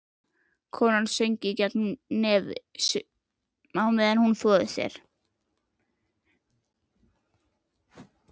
Konan söng gegnum nefið á meðan hún þvoði sér.